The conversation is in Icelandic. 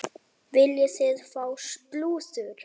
Viljið þið fá slúður?